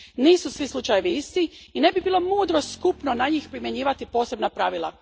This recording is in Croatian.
Nisu svi slučajevi isti i ne bi bilo mudro skupno na njih primjenjivati posebna pravila.